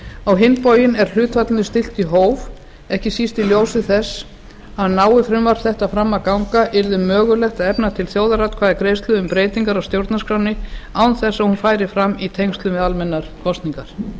á hinn bóginn er hlutfallinu stillt í hóf ekki síst í ljósi þess að nái frumvarp þetta fram að ganga yrði mögulegt að efna til þjóðaratkvæðagreiðslu um breytingar á stjórnarskránni án þess að hún færi fram í tengslum við almennar kosningar í